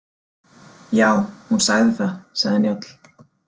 Já, hún sagði það, sagði Njáll.